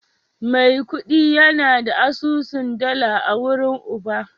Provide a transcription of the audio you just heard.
Maikudi yana da asusun dala a wurin Uba